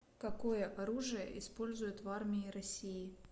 какое оружие используют в армии россии